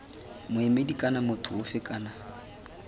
moemedi kana motho ofe kana